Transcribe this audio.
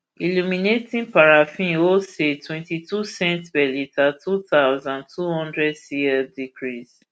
illuminating paraffin wholesale twentytwo cents per litre two thousand, two hundred cl decrease